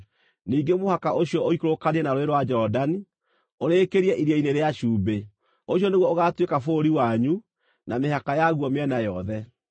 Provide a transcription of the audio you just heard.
Ningĩ mũhaka ũcio ũikũrũkanie na Rũũĩ rwa Jorodani, ũrĩkĩrie Iria-inĩ rĩa Cumbĩ. “ ‘Ũcio nĩguo ũgaatuĩka bũrũri wanyu, na mĩhaka yaguo mĩena yothe.’ ”